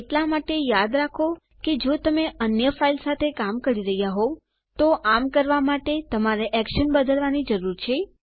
એટલા માટે યાદ રાખો કે જો તમે અન્ય ફાઈલ સાથે કામ કરી રહ્યા હોઉં તો આમ કરવા માટે તમારે એક્શન બદલવાની જરૂર છે